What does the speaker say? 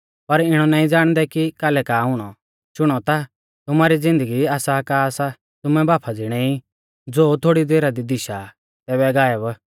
पर इणौ नाईं ज़ाणदै कि कालै का हुणौ शुणौ ता तुमारी ज़िन्दगी आसा का सा तुमै भाफा ज़िणै ई ज़ो थोड़ी देरा दी दिशा आ तैबै गायब